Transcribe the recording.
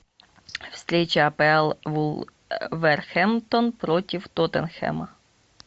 встреча апл вулверхэмптон против тоттенхэма